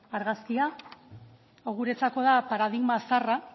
argazkia hau guretzako da paradigma zaharra